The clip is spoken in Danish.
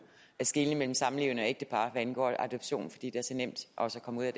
skelne mellem samlevende og ægtepar hvad angår adoption fordi det er så nemt også at komme